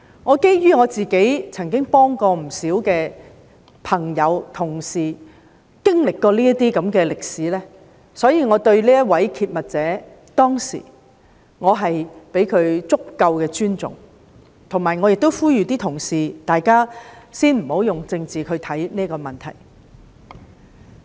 我曾幫助不少朋友、同事經歷這種事情，所以我當時相當尊重這名揭密者，並呼籲各位同事先不要以政治角度看待這個問題。